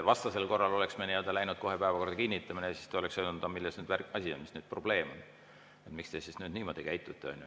Vastasel korral me oleks läinud kohe päevakorra kinnitamise juurde, siis te oleks öelnud, milles asi on, mis probleem on, miks te siis nüüd niimoodi käitute.